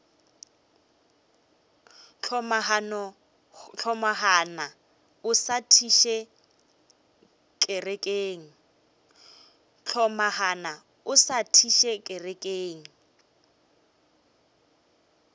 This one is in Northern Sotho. hlomagana o sa thiše kerekeng